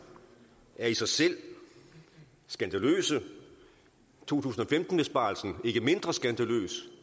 i sig selv skandaløse og to tusind og femten besparelserne ikke mindre skandaløse